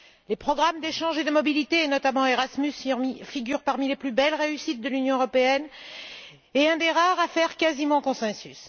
Les programmes d'échange et de mobilité et, notamment Erasmus, figurent parmi les plus belles réussites de l'Union européenne et sont un des rares programmes à faire quasiment consensus.